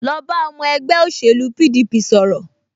Lọ bá ọmọ ẹgbẹ́ òṣèlú PDP sọ̀rọ̀